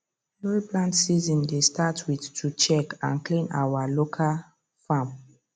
every plant season dey start with to check and clean our local farm